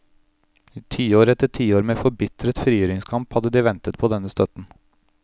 I tiår etter tiår med forbitret frigjøringskamp hadde de ventet på denne støtten.